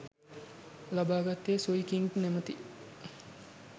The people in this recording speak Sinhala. ලබාගත්තේ සුයි කින්ග් නමැති